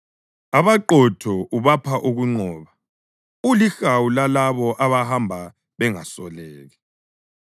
Abaqotho ubapha ukunqoba, ulihawu lalabo abahamba bengasoleki,